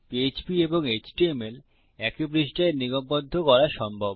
PHP এবং HTML একই পৃষ্ঠায় নিগমবদ্ধ করা সম্ভব